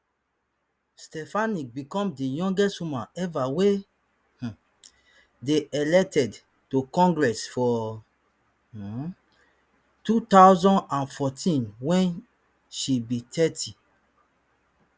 stefanik become di youngest woman eva wey um dey elected to congress for um two thousand and fourteen wen she be thirty